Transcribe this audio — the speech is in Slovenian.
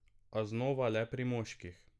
A znova le pri moških.